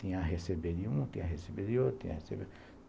Tinha a receber de uma, tinha a receber de outra, tinha a receber.